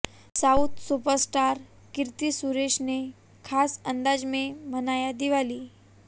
south superstar Keerthy Suresh ने खास अंदाज में मनाया दिवाली